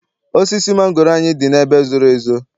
Osisi mangoro anyị dị n'ebe zoro ezo.